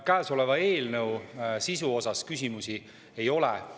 Käesoleva eelnõu sisu kohta küsimusi ei ole.